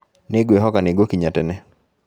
Nĩ ngwĩhoka nĩ ngũkinya tene